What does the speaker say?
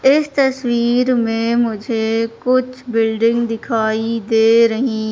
इस तस्वीर में मुझे कुछ बिल्डिंग दिखाई दे रही--